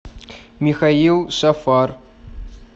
михаил шафар